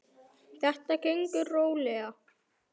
Þetta gengur rólega.